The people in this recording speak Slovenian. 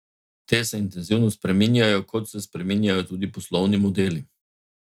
Te se intenzivno spreminjajo, kot se spreminjajo tudi poslovni modeli.